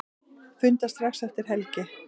Funda strax eftir helgi